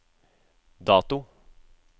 dato